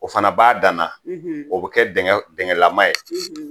O fana b'a danna o bɛ kɛ dingɛlama ye